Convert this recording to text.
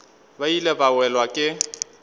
ba ile ba welwa ke